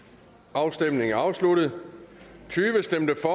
afstemningen er afsluttet for stemte